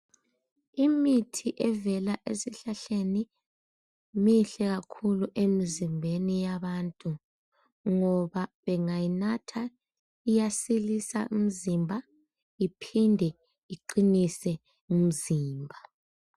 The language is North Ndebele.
Imithi evela esihlahleni mihle kakhulu emizimbeni yabantu, ngoba bengayinatha iyasilisa imzimba iphinde iqinise imzimba.